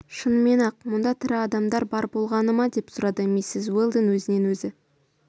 шынымен-ақ мұнда тірі адам бар болғаны ма деп сұрады миссис уэлдон өзінен өзі